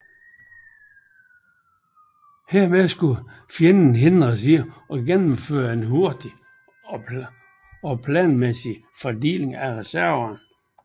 Herved skulle fjenden hindres i at gennemføre en hurtig og planmæssig fordeling af reserverne